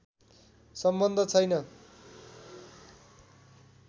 सम्बन्ध छैन